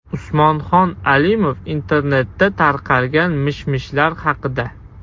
Usmonxon Alimov internetda tarqalgan mish-mishlar haqida.